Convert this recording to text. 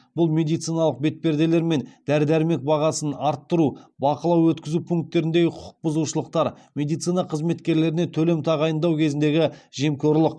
бұл медициналық бетперделер мен дәрі дәрмек бағасын арттыру бақылау өткізу пунктеріндегі құқық бұзушылықтар медицина қызметкерлеріне төлем тағайындау кезіндегі жемқорлық